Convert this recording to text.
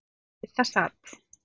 Og við það sat.